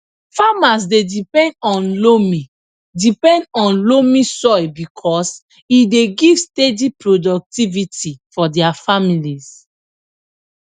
farmers dey depend on loamy depend on loamy soil because e dey give steady productivity for dia families